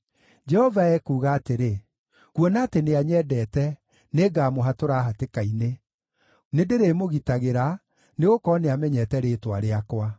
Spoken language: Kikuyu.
Jehova ekuuga atĩrĩ, “Kuona atĩ nĩanyendete, nĩngamũhatũra hatĩka-inĩ; nĩndĩrĩmũgitagĩra, nĩgũkorwo nĩamenyete rĩĩtwa rĩakwa.